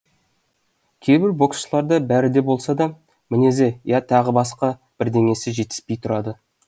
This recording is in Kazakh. кейбір боксшыларда бәрі болса да мінезі я тағы басқа бірдеңесі жетіспей тұрады